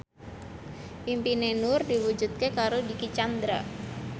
impine Nur diwujudke karo Dicky Chandra